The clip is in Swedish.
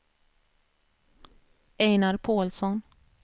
Einar Pålsson